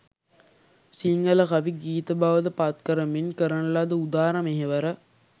සිංහල කවි, ගීත බවට පත් කරමින් කරන ලද උදාර මෙහෙවර